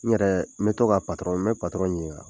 N yɛrɛɛ, n be to ka n be ɲiniŋa